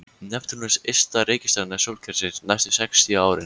Neptúnus ysta reikistjarna sólkerfisins næstu sextíu árin.